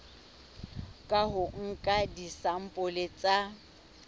ka ho nka disampole tsa